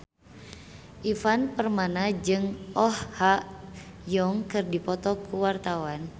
Ivan Permana jeung Oh Ha Young keur dipoto ku wartawan